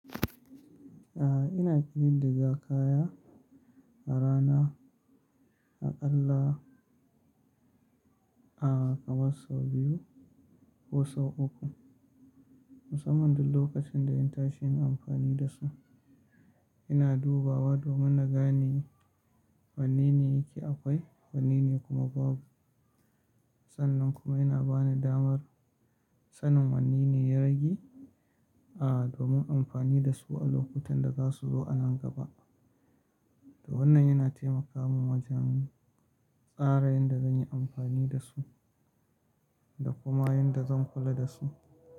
A'a ina ƙidid diga kaya a rana aƙalla a kaman sau biyu ko sau uku. Musamman duk lokacin da in tashi yin amfani da su. Ina dubawa domin na gane wanne ne yake akwai, wanne ne kuma babu. Sannan kuma yana bani damar sanin wanne ne ya rage, a domin amfani da su a lokutan da za su zo a nan gaba. To wannan yana taimaka min wajen tsara yanda zan yi amfani da su da kuma yanda zan kula da su.